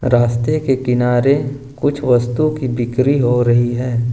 रास्ते के किनारे कुछ वस्तु की बिक्री हो रही है।